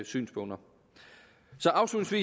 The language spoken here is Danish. synspunkter